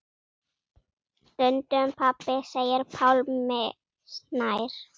Stundum pabbi segir Pálmi Snær.